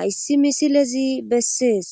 hayssi misilezi bessees